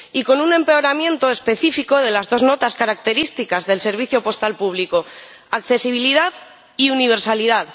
Y con un empeoramiento específico de las dos notas características del servicio postal público accesibilidad y universalidad